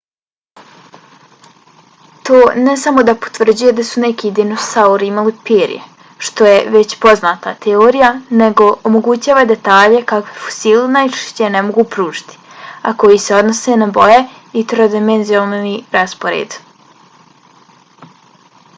to ne samo da potvrđuje da su neki dinosauri imali perje što je već poznata teorija nego omogućava detalje kakve fosili najčešće ne mogu pružiti a koji se odnose na boje i trodimenzionalni raspored